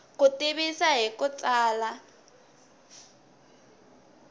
ku tivisa hi ku tsala